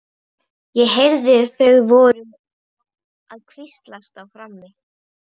Ég heyrði að þau voru að hvíslast á frammi.